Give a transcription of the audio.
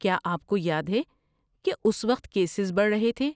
کیا آپ کو یاد ہے کہ اس وقت کیسز بڑھ رہے تھے؟